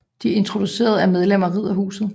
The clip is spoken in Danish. De introducerede er medlemmer af Riddarhuset